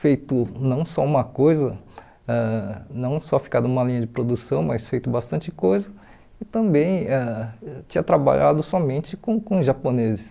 feito não só uma coisa, ãh não só ficar numa linha de produção, mas feito bastante coisa e também ãh tinha trabalhado somente com com japoneses.